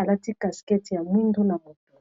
alati caskete ya mwindu na moto